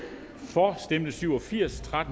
for stemte syv og firs